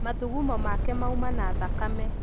Mathugumo make mauma na thakame.